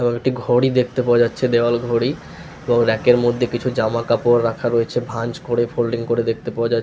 এবং একটি ঘড়ি দেখতে পাওয়া যাচ্ছে দেওয়াল ঘড়ি এবং রেকের মধ্যে কিছু জামা কাপড় রাখা রয়েছে ভাঁজ করে ফোল্ডলিং করে দেখতে পাওয়া --